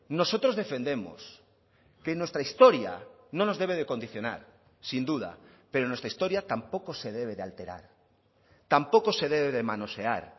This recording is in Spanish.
nosotros defendemos que nuestra historia no nos debe de condicionar sin duda pero nuestra historia tampoco se debe de alterar tampoco se debe de manosear